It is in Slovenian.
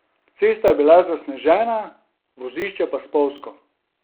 Cesta je bila zasnežena, vozišče pa spolzko.